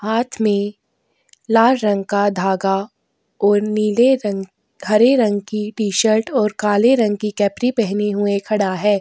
हाथ में लाल रंग का धागा और नीले रंग हरे रंग की टी शर्ट और काले रंग की कैप्री पहने हुए खड़ा हैं ।